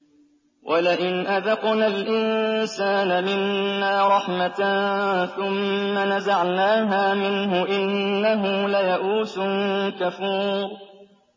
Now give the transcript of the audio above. وَلَئِنْ أَذَقْنَا الْإِنسَانَ مِنَّا رَحْمَةً ثُمَّ نَزَعْنَاهَا مِنْهُ إِنَّهُ لَيَئُوسٌ كَفُورٌ